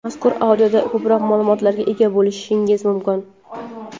Mazkur audioda ko‘proq ma’lumotlarga ega bo‘lishingiz mumkin.